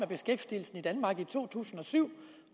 beskæftigelsen i danmark i to tusind og syv